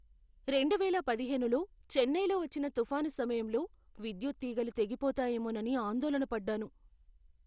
రెండువేల పదిహేనులో చెన్నైలో వచ్చిన తుఫాను సమయంలో విద్యుత్ తీగలు తెగిపోతాయేమోనని ఆందోళన పడ్డాను.